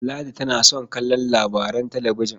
Ladi tana son kallon labaran talabijin.